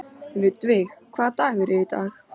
Ludvig, hvaða dagur er í dag?